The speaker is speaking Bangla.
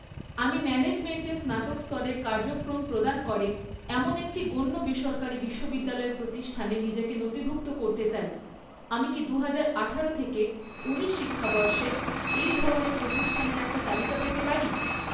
আমি ম্যানেজমেন্টে স্নাতক স্তরের কার্যক্রম প্রদান করে এমন একটি গণ্য বেসরকারি বিশ্ববিদ্যালয় প্রতিষ্ঠানে নিজেকে নথিভুক্ত করতে চাই, আমি কি দুহাজার আঠারো থেকে ঊনিশ শিক্ষাবর্ষে এই ধরনের প্রতিষ্ঠানের একটা তালিকা পেতে পারি?